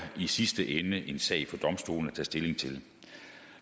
i sidste ende en sag for domstolene at tage stilling til